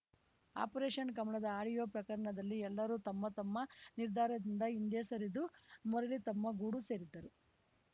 operation ಕಮಲದ audio ಪ್ರಕರಣದಲ್ಲಿ ಎಲ್ಲರೂ ತಮ್ಮ ತಮ್ಮ ನಿರ್ಧಾರದಿಂದ ಹಿಂದೆ ಸರಿದು ಮರಳಿ ತಮ್ಮ ಗೂಡು ಸೇರಿದ್ದರು